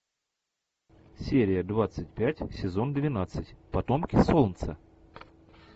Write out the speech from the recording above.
серия двадцать пять сезон двенадцать потомки солнца